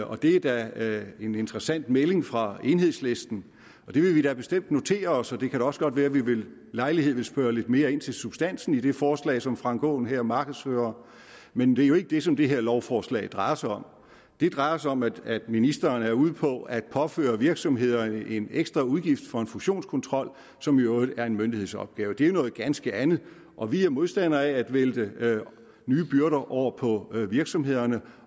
og det er da en interessant melding fra enhedslisten det vil vi da bestemt notere os og det kan da også godt være at vi ved lejlighed vil spørge lidt mere ind til substansen i det forslag som herre frank aaen her markedsfører men det er jo ikke det som det her lovforslag drejer sig om det drejer sig om at ministeren er ude på at påføre virksomhederne en ekstra udgift for en fusionskontrol som i øvrigt er en myndighedsopgave det er jo noget ganske andet og vi er modstander af at vælte nye byrder over på virksomhederne